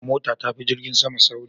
Mota tafi jirgin sama sauri